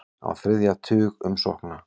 Á þriðja tug umsókna